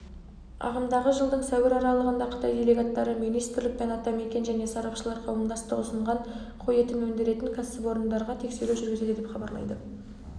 ағымдағы жылдың сәуір аралығында қытай делегаттары министрлік пен атамекен және сарапшылар қауымдастығы ұсынған қой етін өндіретін кәсіпорындарға тексеру жүргізеді деп хабарлайды